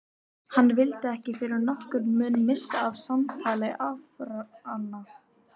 Hann vildi ekki fyrir nokkurn mun missa af samtali afanna.